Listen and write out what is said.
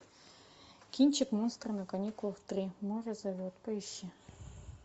кинчик монстры на каникулах три море зовет поищи